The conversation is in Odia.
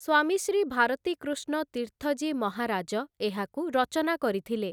ସ୍ୱାମୀ ଶ୍ରୀ ଭାରତୀକୃଷ୍ଣ ତୀର୍ଥଜୀ ମହାରାଜ ଏହାକୁ ରଚନା କରିଥିଲେ ।